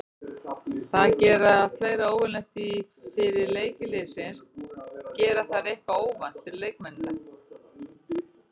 Þær gera fleira óvenjulegt því fyrir leiki liðsins gera þær eitthvað óvænt fyrir leikmennina.